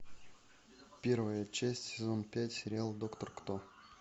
первая часть сезон пять сериал доктор кто